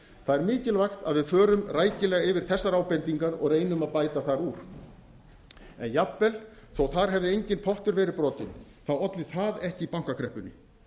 það er mikilvægt að við förum rækilega yfir þessar ábendingar og reynum að bæta þar úr en jafnvel þó þar hefði enginn pottur verið brotinn olli það ekki bankakreppunni